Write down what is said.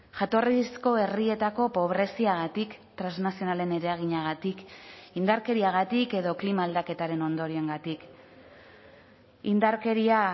jatorrizko herrietako pobreziagatik trasnazionalen eraginagatik indarkeriagatik edo klima aldaketaren ondorioengatik indarkeria